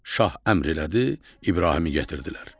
Şah əmr elədi, İbrahimi gətirdilər.